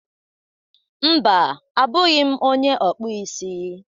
Mba, abụghị m onye okpụ isi.